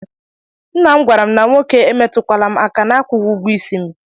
Nna m gwara na nwoke emetukwala m aka na-akwughi ụgwọ ịsị m.